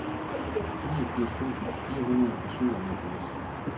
niogfirs tusind fire hundrede og syvoghalvfjerds